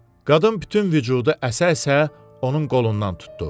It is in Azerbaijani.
Qadın bütün vücudu əsə-əsə onun qolundan tutdu.